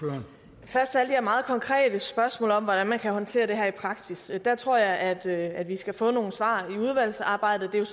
først til alle de her meget konkrete spørgsmål om hvordan man kan håndtere det her i praksis jeg tror at at vi skal få nogle svar i udvalgsarbejdet det er